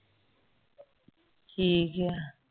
ਠੀਕ ਆ